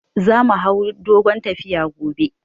Za mu hau dogon tafiya gobe